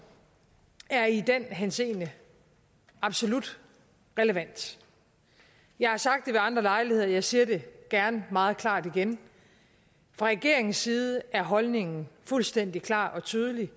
er i den henseende absolut relevant jeg har sagt det ved andre lejligheder jeg siger det gerne meget klart igen fra regeringens side er holdningen fuldstændig klar og tydelig